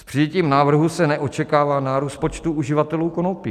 S přijetím návrhu se neočekává nárůst počtu uživatelů konopí.